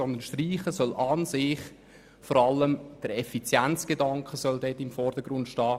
Beim Streichen soll vielmehr der Effizienzgedanke im Vordergrund stehen.